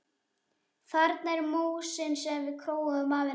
Þarna er músin sem við króuðum af í neðri deild.